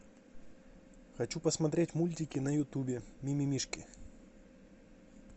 хочу посмотреть мультики на ютубе ми ми мишки